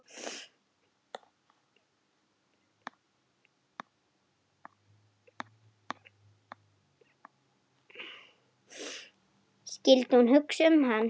Skyldi hún hugsa um hann?